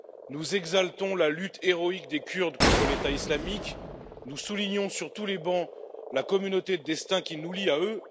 Nous exaltons la lutte héroïque des Kurdes contre l'État islamique, nous soulignons sur tous les bancs la communauté de destin qui nous lie à eux.